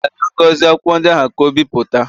M zigara Ngozi akwụkwọ ndị ahụ ka o bipụta